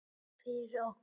Fyrir okkur.